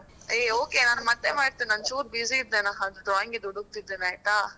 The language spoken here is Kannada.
Hey okay ನಾನು ಮತ್ತೆ ಮಾಡ್ತೀನಿ ಒಂದು ಚೂರು busy ಇದ್ದೇನಾ ಅದು drawing ದು ಹುಡುಕ್ತಿದ್ದೀನಿ ಆಯ್ತಾ.